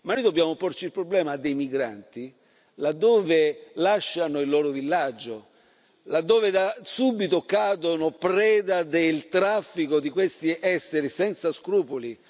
Ma noi dobbiamo porci il problema dei migranti là dove lasciano il loro villaggio, là dove da subito cadono preda del traffico di questi esseri senza scrupoli.